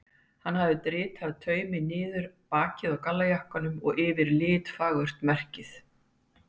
Hann hafði dritað taumi niður bakið á gallajakkanum og yfir litfagurt merkið.